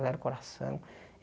o coração.